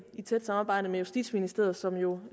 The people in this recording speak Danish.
tæt samarbejde med justitsministeriet som jo